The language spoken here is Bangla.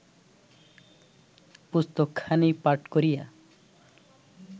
পুস্তকখানি পাঠ করিয়া